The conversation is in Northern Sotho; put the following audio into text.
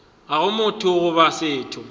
ga go motho goba setho